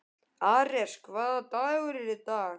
Ares, hvaða dagur er í dag?